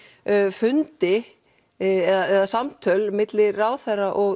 fundi eða samtöl milli ráðherra og